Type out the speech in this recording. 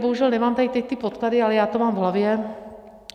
Bohužel nemám tady teď ty podklady, ale já to mám v hlavě.